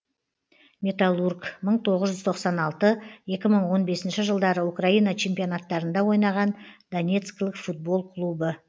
металлург мың тоғыз жүз тоқсан алты екі мың он бесінші жылдары украина чемпионаттарында ойнаған донецкілік футбол клубы